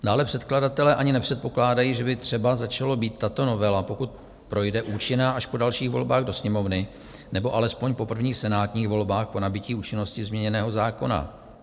Dále předkladatelé ani nepředpokládají, že by třeba začala být tato novela, pokud projde, účinná až po dalších volbách do Sněmovny nebo alespoň po prvních senátních volbách, po nabytí účinnosti změněného zákona.